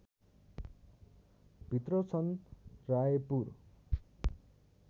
भित्र छन् रायपुर